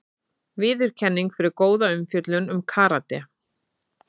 Viðurkenning fyrir góða umfjöllun um karate